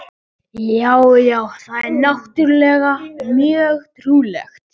Já, já, það er náttúrlega mjög trúlegt.